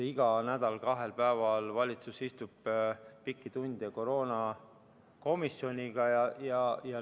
Iga nädal kahel päeval istub valitsus pikki tunde koos koroonakomisjoniga.